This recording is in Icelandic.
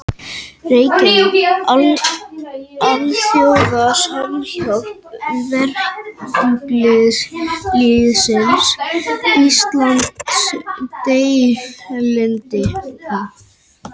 Reykjavík: Alþjóða Samhjálp Verkalýðsins Íslandsdeildin.